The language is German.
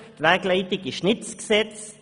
Die Wegleitung ist nicht das Gesetz.